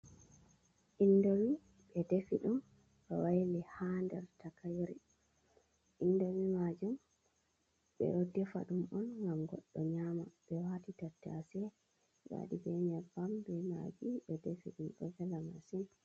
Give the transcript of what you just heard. Indomi ɓe defi dum ɓe waili hader takaire, indomi majum ɓedo defa dum on gam goɗɗo nyama, ɓewati tattase ,ɓewadi ɓe nyeɓɓam, ɓe maggi ɓe defi dum do vela masin.